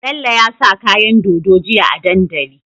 Bello ya sa kayan dodo jiya a dandali